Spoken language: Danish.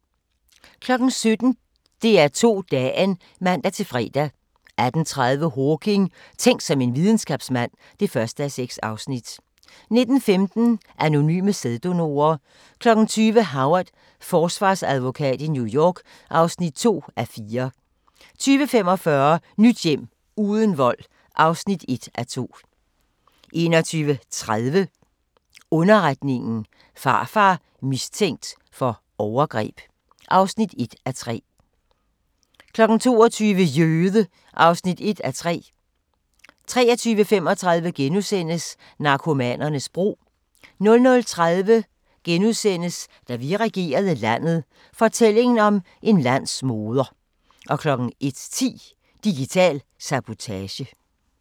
17:00: DR2 Dagen (man-fre) 18:30: Hawking: Tænk som en videnskabsmand (1:6) 19:15: Anonyme sæddonorer 20:00: Howard – forsvarsadvokat i New York (2:4) 20:45: Nyt hjem – uden vold (1:2) 21:30: Underretningen – Farfar mistænkt for overgreb (1:3) 22:00: Jøde! (1:3) 23:35: Narkomanernes bro * 00:30: Da vi regerede landet – fortællingen om en landsmoder * 01:10: Digital sabotage